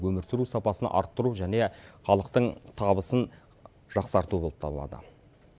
өмір сүру сапасын арттыру және халықтың табысын жақсарту болып табылады